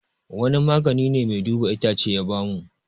Wani magani ne mai duba itacce ya ba mu